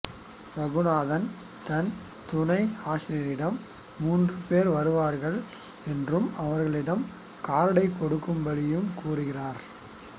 இரகுநாத் தன் துனை ஆசிரியரிடம் மூன்று பேர் வருவார்கள் என்றும் அவர்களிடம் கார்டை கொடுக்கும்படி கூறுகிறார்